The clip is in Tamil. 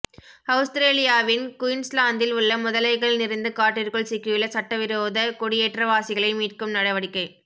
அவுஸ்திரேலியா வின் குயின்ஸ்லாந்தில் உள்ள முதலைகள் நிறைந்த காட்டிற்குள் சிக்கியுள்ள சட்டவிரோத குடியேற்றவாசிகளை மீட்கும் நடவடிக்கை